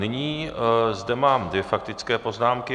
Nyní zde mám dvě faktické poznámky.